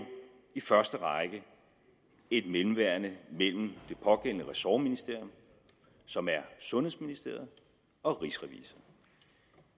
i første række er et mellemværende mellem det pågældende ressortministerium som er sundhedsministeriet og rigsrevisor